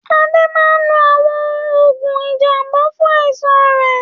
Ade máa ń lo àwọn oògùn ìjàmbá fún àìsàn rẹ̀.